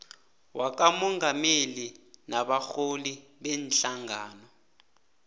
wakamongameli nabarholi beenhlangano